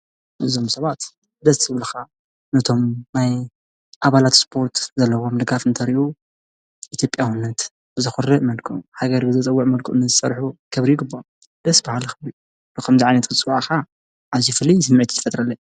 እዞም ሰባት ደስ ዝብሉካ ነቶም ናይ ኣባላት ስፖርት ዘለዎም ድጋፍ እንተሪኡ ኢትዮጵያውነት ብዘኩርዕ መልክዑ ሃገር ብዘፅውዕ መልክዑ ንዝሰሑ ክብሪ ይግብኦም ደስ ብሃሊ ክብሪ ንከምዚ ዓይነት ክትፅዋዕ ከዓ ኣዝዩ ፍሉይ ስምዒት እዩ ዝፈጥረለይ።